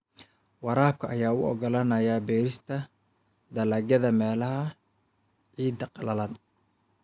Waraabka ayaa u oggolaanaya beerista dalagyada meelaha ciidda qallalan.